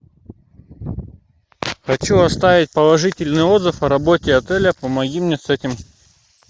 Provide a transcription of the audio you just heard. хочу оставить положительный отзыв о работе отеля помоги мне с этим